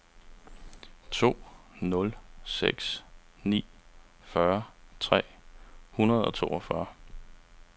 to nul seks ni fyrre tre hundrede og toogfyrre